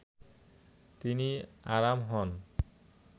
তিনি আরাম হন